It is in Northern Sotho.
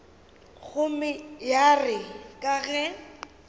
gomme ya re ka ge